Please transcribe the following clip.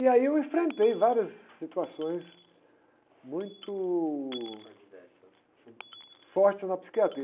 E aí eu enfrentei várias situações muito...dversas.ortes na psiquiatria.